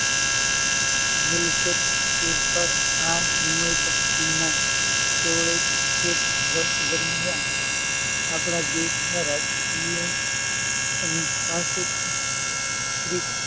મૂલગત ફેરફાર આ સમય પાર્ટીના સોળેક વર્ષ દમિયાન આપડા દેશ નાં રાજકિય અને સંસ્કૃતિ ,